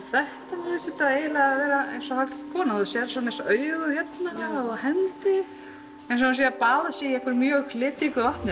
þetta eiginlega vera eins og hálfgerð kona þú sérð svona eins og augu hérna og hendi eins og hún sé að baða sig í einhverju mjög litríku vatni